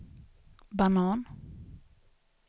banan